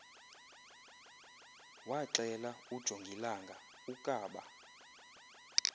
waxela ujongilanga ukaba